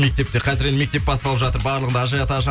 мектепте қазір енді мектеп басталып жатыр барлығында ажиотаж